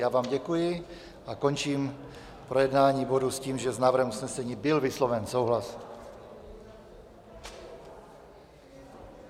Já vám děkuji a končím projednání bodu s tím, že s návrhem usnesení byl vysloven souhlas.